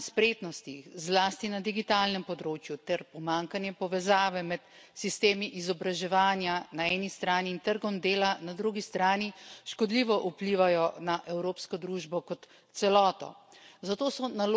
Vrzel v znanju in spretnostih zlasti na digitalnem področju ter pomanjkanje povezave med sistemi izobraževanja na eni strani in trgom dela na drugi strani škodljivo vplivajo na evropsko družbo kot celoto.